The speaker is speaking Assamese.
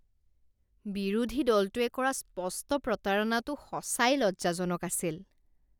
বিৰোধী দলটোৱে কৰা স্পষ্ট প্ৰতাৰণাটো সঁচাই লজ্জাজনক আছিল